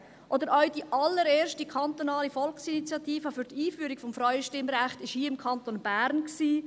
Auch die allererste kantonale Volksinitiative zur Einführung des Frauenstimmrechts fand hier im Kanton Bern statt.